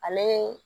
Ale